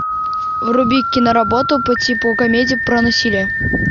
вруби киноработу по типу комедия про насилие